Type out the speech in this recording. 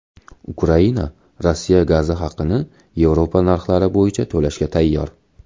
Ukraina Rossiya gazi haqini Yevropa narxlari bo‘yicha to‘lashga tayyor.